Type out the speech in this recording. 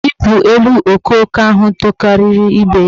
Bepu elu okooko ahụ tokariri ibe ya!